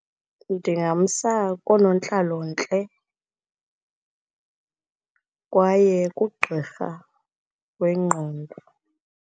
Ndingamsa koonontlalontle, kwaye kugqirha wengqondo.